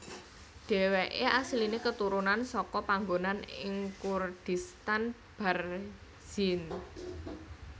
Dheweke asline keturunan seka panggonan ing Kurdistan Barzinj